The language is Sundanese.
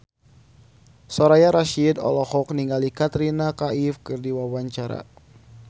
Soraya Rasyid olohok ningali Katrina Kaif keur diwawancara